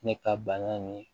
Ne ka bana in